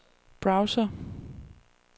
browser